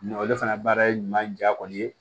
Nka ale fana baara ɲuman ja kɔni ye